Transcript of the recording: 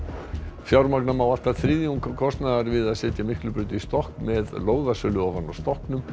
fjármagna má allt að þriðjung kostnaðar við að setja Miklubraut í stokk með lóðasölu ofan á stokknum